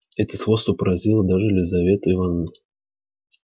это сходство поразило даже лизавету ивановну